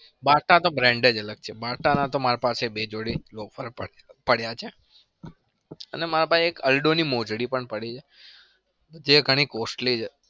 bata તો brand જ અલગ છે. BATA ના તો માર પાસે બે જોડી local પડ્યા છે. અને મારા પાસે એક aldo ની મોજડી પણ પડી છે. જે ઘણી costly છે.